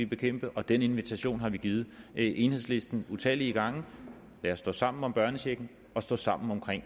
bekæmpe og den invitation har vi givet enhedslisten utallige gange lad os stå sammen om børnechecken og stå sammen om